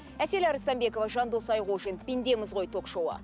әсел арыстанбекова жандос айқожин пендеміз ғой ток шоуы